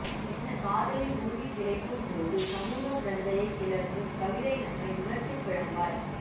என்ன காதலில் மூழ்கித்திளைக்கும் போது சமூக பிரக்ஞையை கிளர்த்தும் கவிதைகள் நம்மை உணர்ச்சிப்பிழம்பாய்